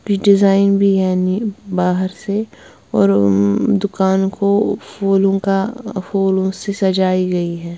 कुछ डिजाइन भी यानी बाहर से और दुकानों को फूलों का फूलों से सजाई गई है।